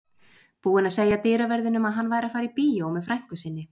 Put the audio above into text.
Búinn að segja dyraverðinum að hann væri að fara á bíó með frænku sinni.